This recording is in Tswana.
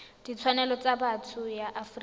ditshwanelo tsa botho ya afrika